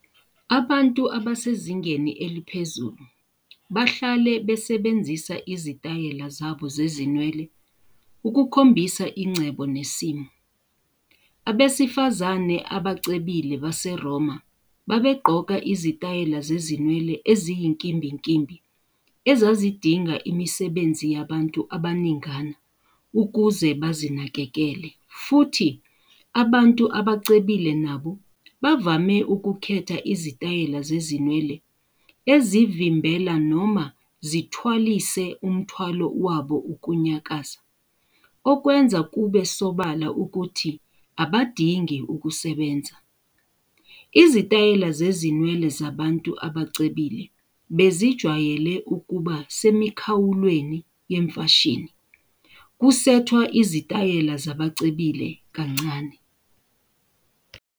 Abantu abasezingeni eliphezulu bahlale besebenzisa izitayela zabo zezinwele ukukhombisa ingcebo nesimo. Abesifazane abacebile baseRoma babegqoka izitayela zezinwele eziyinkimbinkimbi ezazidinga imisebenzi yabantu abaningana ukuze bazinakekele, futhi abantu abacebile nabo bavame ukukhetha izitayela zezinwele ezivimbela noma zithwalise umthwalo wabo ukunyakaza, okwenza kube sobala ukuthi abadingi kusebenza. Izitayela zezinwele zabantu abacebile bezijwayele ukuba semikhawulweni yemfashini, kusethwa izitayela zabacebile kancane.